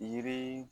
Yiri